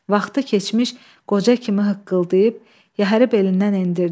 Vaxtı keçmiş qoca kimi hıqqıldayıb yəhəri belindən endirdi.